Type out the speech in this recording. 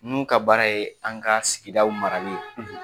N'u ka baara ye an ka sigidaw marali ye.